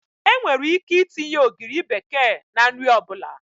Enwere ike itinye ogiri bekee na nri ọ bụla